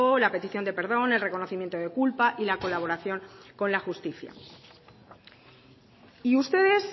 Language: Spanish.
la petición de perdón el reconocimiento de culpa y la colaboración con la justicia y ustedes